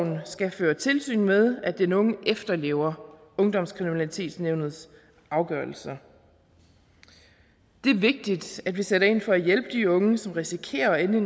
skal føre tilsyn med at den unge efterlever ungdomskriminalitetsnævnets afgørelser det er vigtigt at vi sætter ind for at hjælpe de unge som risikerer at ende